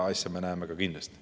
Ja mõnda asja me näeme kindlasti.